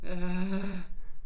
Ja